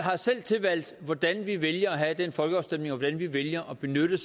selv har tilvalgt hvordan vi vælger at have den folkeafstemning og hvordan vi vælger at benytte